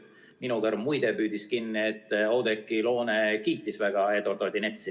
Minu kõrv, muide, püüdis kinni, et Oudekki Loone väga kiitis Eduard Odinetsi.